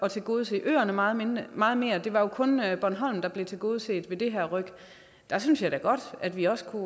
at tilgodese øerne meget mere meget mere det var jo kun bornholm der blev tilgodeset ved det her ryk der synes jeg da godt at vi også kunne